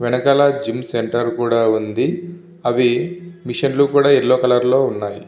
వెనుకల gym centre కూడా వుంది. అవి మెషిన్ లు కూడా యెల్లో కలర్ లొ వున్నాయి.